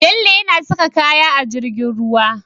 Bello yana saka kayan a jirgin ruwa